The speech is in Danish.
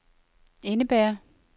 indebærer